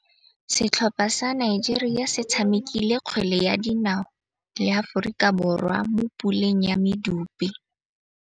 Setlhopha sa Nigeria se tshamekile kgwele ya dinaô le Aforika Borwa mo puleng ya medupe.